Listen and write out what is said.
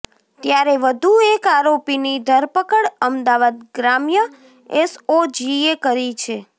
ત્યારે વધુ એક આરોપીની ધરપકડ અમદાવાદ ગ્રામ્ય એસઓજીએ કરી છે